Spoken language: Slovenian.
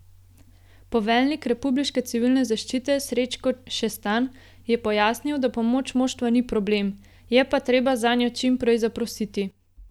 Poveljnik republiške civilne zaščite Srečko Šestan je pojasnil, da pomoč moštva ni problem, je pa treba zanjo čim prej zaprositi.